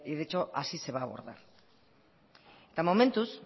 de hecho así se va abordar eta momentuz